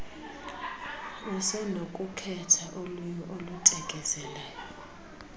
usenokukhetha ulwirni olutekezelayo